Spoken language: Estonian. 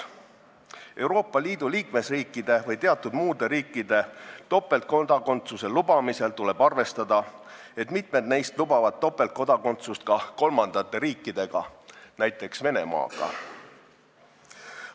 Topeltkodakondsuse lubamisel Euroopa Liidu liikmesriikidega või muude riikidega tuleb arvestada, et mitmed neist lubavad topeltkodakondsust ka kolmandate riikidega, näiteks Venemaaga.